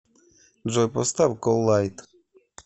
джой поставь коллайд